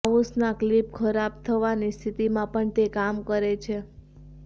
માઉસના click ખરાબ થવાની સ્થિતીમાં પણ તે કામ કરે છે